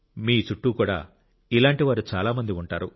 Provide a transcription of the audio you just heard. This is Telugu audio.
మీ చుట్టూ కూడా ఇలాంటి వారు చాలా మంది ఉంటారు